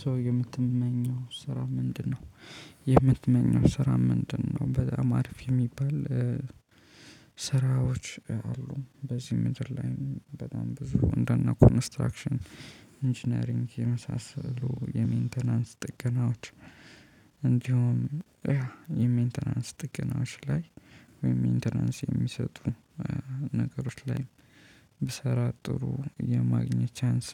ሶ የምትመኘው ስራ ምንድነው? የምትመኘው ስራ ምንድነው በጣም አሪፍ የሚባል ስራዎች አሉ በዚህ ምድር ላይ በጣም ብዙ እንደነ ኮንስትራክሽን ኢንጂነሪንግ የመሳሰሉ የመይንተናንስ ጥገናዎች። እንዲሁም የሜንቴናንስ ጥቅሞች ላይ ወይም ሜንቴራንስ የሚሰጡ ነገሮች ላይ ብሰራ ጥሩ የማግኘት ቻንስ